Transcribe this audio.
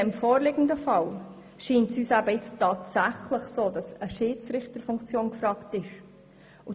Im vorliegenden Fall scheint uns nun tatsächlich eine Schiedsrichterfunktion gefragt zu sein.